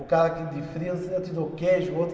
O cara que de frios, eu te dou queijo. O outro